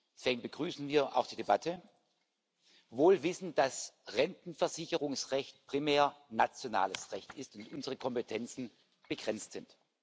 Deswegen begrüßen wir auch die Debatte wohl wissend, dass Rentenversicherungsrecht primär nationales Recht ist und unsere Kompetenzen begrenzt sind.